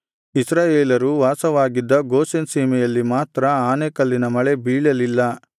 ಇಸ್ರಾಯೇಲರು ವಾಸವಾಗಿದ್ದ ಗೋಷೆನ್ ಸೀಮೆಯಲ್ಲಿ ಮಾತ್ರ ಆನೆಕಲ್ಲಿನ ಮಳೆ ಬೀಳಲಿಲ್ಲ